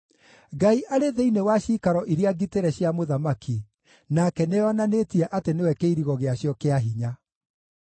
Ngai arĩ thĩinĩ wa ciikaro iria ngitĩre cia mũthamaki; nake nĩeyonanĩtie atĩ nĩwe kĩirigo gĩacio kĩa hinya.